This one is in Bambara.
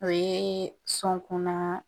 O ye sɔn kɔnɔ